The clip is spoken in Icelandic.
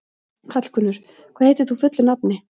Hallgunnur, hvað heitir þú fullu nafni?